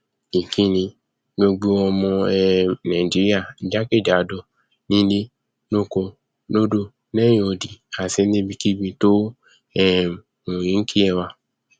ìkíni gbogbo ọmọ um nàìjíríà jákèjádò nílé lóko lódò lẹhìn odi àti níbikíbi tó um wù kí ẹ wà